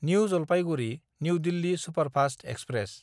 new Jalpaiguri new Delhi superfast express